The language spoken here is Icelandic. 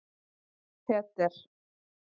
Peter